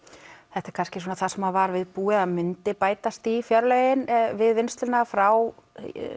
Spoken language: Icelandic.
þetta er kannski það sem var viðbúið að myndi bætast í fjárlögin við vinnsluna frá